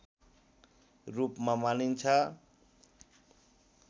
रूपमा मानिन्छ